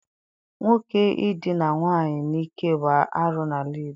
Nwoke idina nwaanyị n'ike bụ arụ n'ala Igbo.